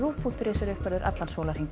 punktur is er uppfærður allan sólarhringinn